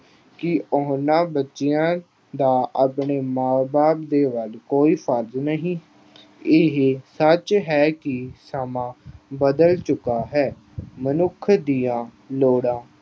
ਕੀ ਉਹਨਾਂ ਬੱਚਿਆਂ ਦਾ ਆਪਣੇ ਮਾਂ ਬਾਪ ਦੇ ਵੱਲ ਕੋਈ ਫ਼ਰਜ਼ ਨਹੀਂ? ਇਹ ਸੱਚ ਹੈ ਕਿ ਸਮਾਂ ਬਦਲ ਚੁੱਕਾ ਹੈ। ਮਨੁੱਖ ਦੀਆਂ ਲੋੜਾਂ